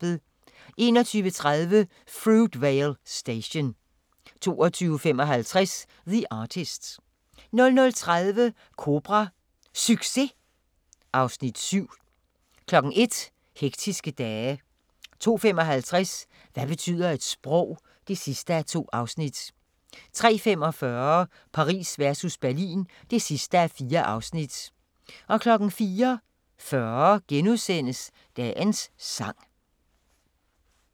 21:30: Fruitvale Station 22:55: The Artist 00:30: Kobra – Succes? (Afs. 7) 01:00: Hektiske dage 02:55: Hvad betyder et sprog? (2:2) 03:45: Paris versus Berlin (4:4) 04:40: Dagens sang *